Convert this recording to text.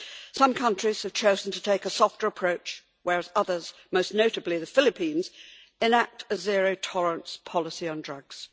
Some countries have chosen to take a softer approach, whereas others most notably the Philippines enact a zero-tolerance policy on drugs.